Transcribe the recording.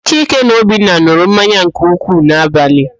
Chike na Obinna n̄ụrụ mmanya nke ukwuu n'abalị.